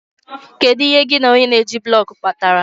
Kedu ihe gị na onye na-eji blọk kpatara?